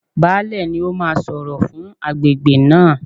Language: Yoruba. Baálẹ̀ ni ó máa sọ̀rọ̀ fún agbègbè náà.